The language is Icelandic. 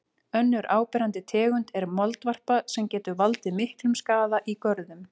Önnur áberandi tegund er moldvarpa sem getur valdið miklum skaða í görðum.